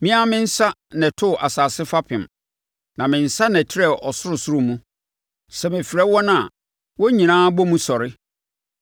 Me ara me nsa na ɛtoo asase fapem, na me nsa na ɛtrɛɛ ɔsorosoro mu; sɛ mefrɛ wɔn a, wɔn nyinaa bɔ mu sɔre.